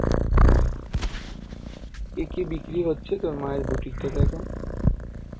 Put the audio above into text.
অঃ কি কি বিক্রি হচ্ছে তোর মায়ের বুটিকটা এখন?